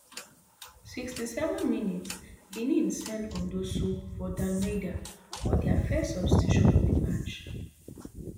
sixty-seven mins benin send on dossou for dalmeida for dia first substitution of di match